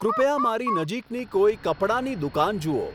કૃપયા મારી નજીકની કોઈ કપડાની દુકાન જુઓ